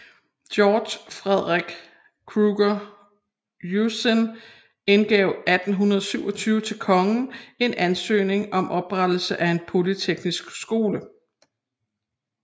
Georg Frederik Krüger Ursin indgav 1827 til kongen en ansøgning om oprettelse af en polyteknisk skole